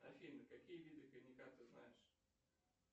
афина какие виды коньяка ты знаешь